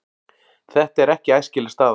Þetta er ekki æskileg staða.